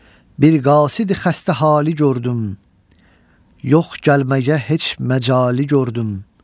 Bir qasidi xəstə hali gördüm, yox gəlməyə heç məcali gördüm.